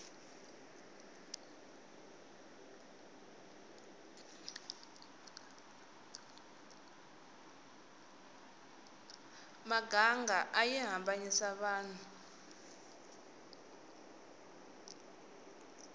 miganga ayi hambanisa vanhu